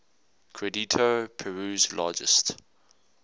credito peru's largest